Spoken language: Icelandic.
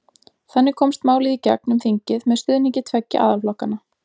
Þannig komst málið í gegn um þingið með stuðningi tveggja aðalflokkanna.